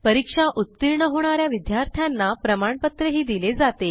परीक्षा उत्तीर्ण होणा या विद्यार्थ्यांना प्रमाणपत्रही दिले जाते